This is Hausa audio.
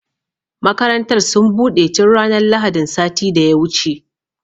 Makarantar sun buɗe tun ranar lahadin sati da ya wuce